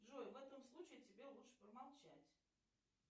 джой в этом случае тебе лучше промолчать